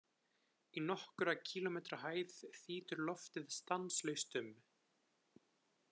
Í nokkurra kílómetra hæð þýtur loftið stanslaust um.